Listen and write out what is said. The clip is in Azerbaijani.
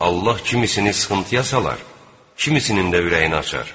Allah kimisini sıxıntıya salar, kimisinin də ürəyini açar.